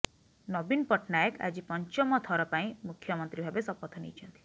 ନବୀନ ପଟ୍ଟନାୟକ ଆଜି ପଞ୍ଚମ ଥର ପାଇଁ ମୁଖ୍ୟମନ୍ତ୍ରୀ ଭାବେ ଶପଥ ନେଇଛନ୍ତି